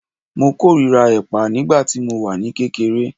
Mo kórìíra ẹ̀pà nígbà tí mo wà ní kékeré